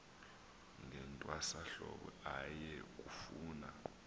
ngentwasahlobo aye kufuna